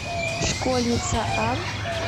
школьница а